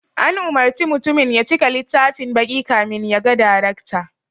An umurci mutumin ya cika littafin baƙi kamin ya ga darekta